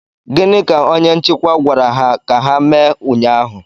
Gịnị ka onye nchịkwa gwara ha ka ha mee ụnyaahụ?